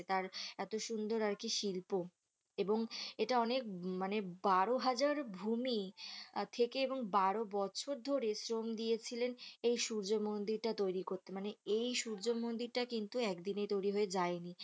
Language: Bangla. তার এত সুন্দর আরকি শিল্প এবং এটা মানে বারোহাজার ভূমি থেকে এবং বারো বছর ধরে শ্রম দিয়েছিলেন যে এই সূর্য মন্দিরটা তৈরী করতে মানে এই সূর্য মন্দিরটা কিন্তু একদিনে তৈরী হয়ে যায়নি